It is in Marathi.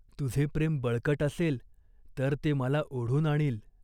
तुझे प्रेम बळकट असेल तर ते मला ओढून आणील.